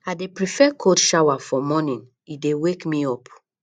i dey prefer cold shower for morning e dey wake me up